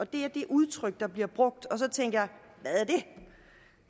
det er det udtryk der bliver brugt og så tænker